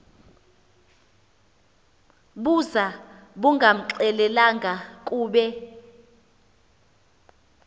buza bungamxelelanga kube